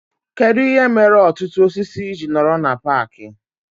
Kedụ ihe mere ọtụtụ osisi ji nọrọ na paaki